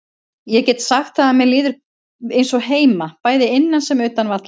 Ég get sagt það að mér líður eins og heima, bæði innan sem utan vallar.